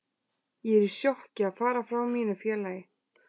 Ég er í sjokki að fara frá mínu félagi.